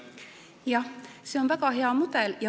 Jah, see on väga hea mudel.